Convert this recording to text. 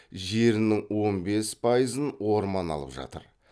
жерінің он бес пайызын орман алып жатыр